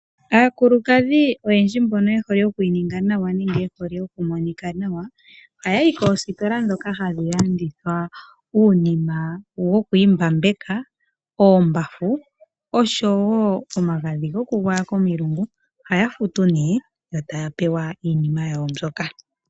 Aakulukadhi oyendji mbono ye hole okwiininga nawa nenge ye hole oku monika nawa, oha yayi koositola dhoka hadhi landitha uunima woku imbapeka, oombafu osho wo omagadhi goku igwayeka komilungu. Ohaya futu nee yo taya pewa iinima yawo mbyoka.